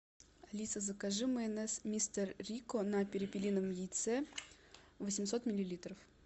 алиса закажи майонез мистер рикко на перепелином яйце восемьсот миллилитров